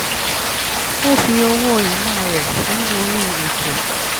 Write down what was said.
ó fi owó ìná rẹ̀ sí orí ètò